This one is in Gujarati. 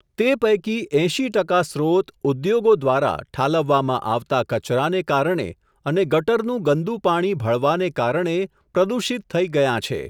તે પૈકી એંશી ટકા સ્રોત ઉદ્યોગો દ્વારા, ઠાલવવામાં આવતા કચરાને કારણે, અને ગટરનું ગંદું પાણી ભળવાને કારણે, પ્રદૂષિત થઈ ગયાં છે.